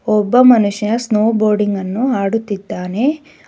ಒಬ್ಬ ಮನುಷ್ಯ snowboarding ಅನ್ನು ಆಡುತ್ತಿದ್ದಾನೆ.